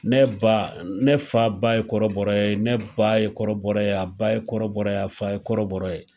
Ne ba ne fa ba ye kɔrɔbɔrɔ ye ne ba ye kɔrɔbɔrɔ a ba ye kɔrɔbɔrɔ a fa ye kɔrɔbɔrɔ ye